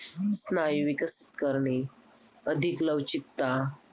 स्नायू विकसित करणे, अधिक लवचिकता